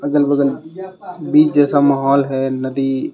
अगल बगल बीच जैसा माहौल है नदी--